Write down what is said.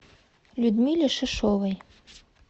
людмиле шишовой